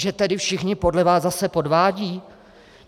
Že tedy všichni podle vás zase podvádějí?